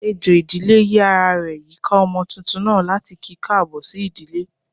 Ejò ìdílé yi ará rẹ yika ọmọ túntún naa, latí ki kaabo sí ìdílé.